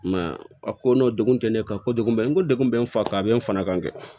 I m'a ye a ko n'o degun tɛ ne kan ko degun bɛ n ko degun bɛ n fa kan a bɛ n fana kan dɛ